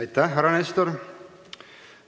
Aitäh, härra Nestor!